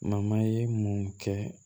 ye mun kɛ